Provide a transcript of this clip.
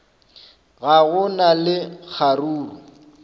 ga go na le kgaruru